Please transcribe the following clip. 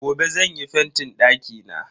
Gobe zan yi fentin dakina.